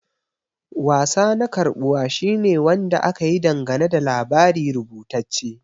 Wasa na karbuwa shine Wanda aka yi dangane da labari rubutacce.